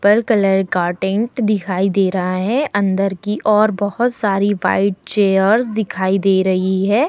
Purple colour का tent दिखाई दे रहा है अंदर की और बहुत सारी व्हाइट चेयर्स दिखाई दे रही है।